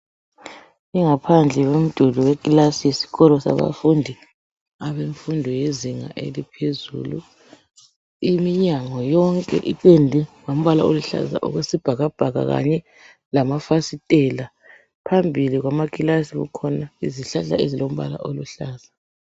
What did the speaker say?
Ingaphandle yomduli wekilasi yisikolo sabafundi abemfundo yezinga eliphezulu iminyango yonke ipendwe ngombala oluhlaza okwesibhakabhaka kanye lamafasitela phambili kwamakilasi kukhona izihlahla ezilombala oluhlaza.